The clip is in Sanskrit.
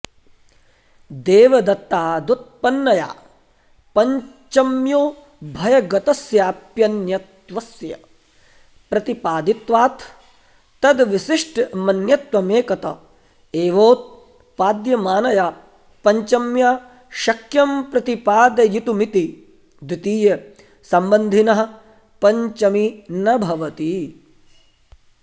देवदत्तादुत्पन्नया पञ्चम्योभयगतस्याप्यन्यत्वस्य प्रतिपादित्वात् तद्विशिष्टमन्यत्वमेकत एवोत्पाद्यमानया पञ्चम्या शक्यं प्रतिपादयितुमिति द्वितीयसम्बन्धिनः पञ्चमी न भवति